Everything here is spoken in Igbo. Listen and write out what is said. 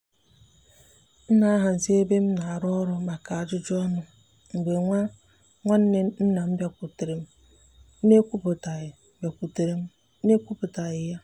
m na-ahazi ebe m na-arụ ọrụ maka ajụjụ ọnụ mgbe nwa nwanne nna m bịakwutere m n’ekwuputaghi bịakwutere m n’ekwuputaghi ya.